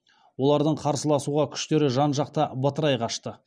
олардың қарсыласуға күштері жан жаққа бытырай қашты